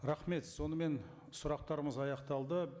рахмет сонымен сұрақтарымыз аяқталды